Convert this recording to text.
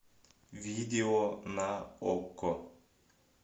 видео на окко